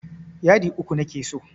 Yadi uku nake so.